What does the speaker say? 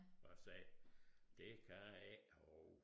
Og sagde det kan jeg ikke og